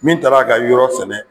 Min taar'a ka yɔrɔ sɛnɛ